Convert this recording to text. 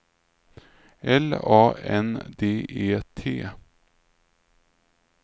L A N D E T